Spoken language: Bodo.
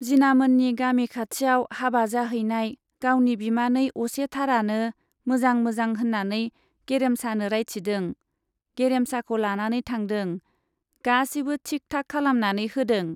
जिनामोननि गामि खाथियाव हाबा जाहैनाय गावनि बिमानै असेथारानो मोजां मोजां होन्नानै गेरेमसानो रायथिदों, गेरेमसाखौ लानानै थांदों, गासिबो थिक थाक खालामनानै होदों।